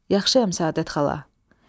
Yaxşıyam Səadət xala.